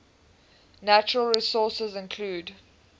natural resources include